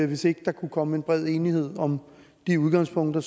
hvis ikke der kunne komme en bred enighed om de udgangspunkter